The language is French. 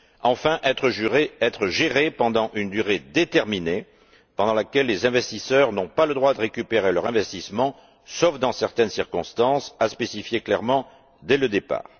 enfin, être gérés pendant une durée déterminée pendant laquelle les investisseurs n'ont pas le droit de récupérer leur investissement, sauf dans certaines circonstances à spécifier clairement, dès le départ.